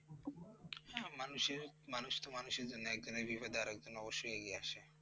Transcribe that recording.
মানুষের মানুষ তো মানুষের জন্য, একজনের বিপদে আর একজন অবশ্য়ই এগিয়ে আসে।